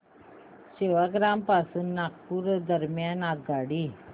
सेवाग्राम पासून नागपूर दरम्यान आगगाडी